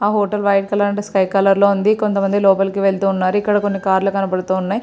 ఆ hotel white colour and sky colour లో ఉంది. కొంత మంది లోపలకి వెళ్తూ ఉన్నారు ఇక్కడ కొన్ని కార్ లు కనబడుతూ ఉన్నాయ్.